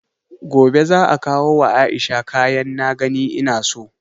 Gobe za'a kawo wa Aisha kayan na gani ina so